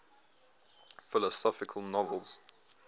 philosophical novels